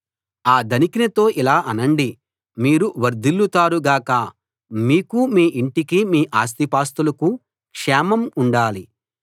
ఆ ధనికునితో ఇలా అనండి మీరు వర్ధిల్లుతారు గాక మీకూ మీ ఇంటికీ మీ ఆస్తిపాస్తులకూ క్షేమం ఉండాలి